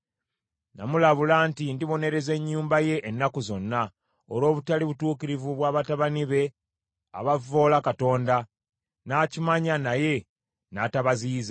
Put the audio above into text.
Namulabula nti ndibonereza ennyumba ye ennaku zonna, olw’obutali butuukirivu bwa batabani be abavvoola Katonda, n’akimanya naye n’atabaziyiza.